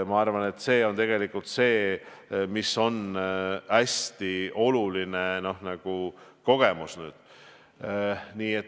Ma arvan, et tegelikult oleme saanud hästi olulise kogemuse.